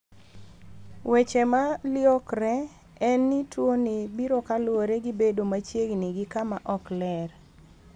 Weche ma liokre en ni tuo ni biro kaluwore gi bedo machiegni gi kama ok ler.